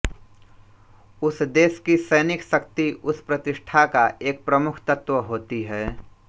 उस देश की सैनिक शक्ति उस प्रतिष्ठा का एक प्रमुख तत्त्व होती है